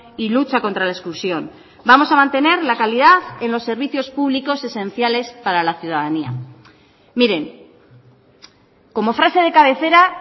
y lucha contra la exclusión vamos a mantener la calidad en los servicios públicos esenciales para la ciudadanía miren como frase de cabecera